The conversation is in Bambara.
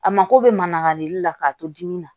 A mako bɛ mangarili la k'a to dimi na